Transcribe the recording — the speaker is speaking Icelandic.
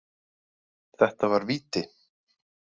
Þetta var víti.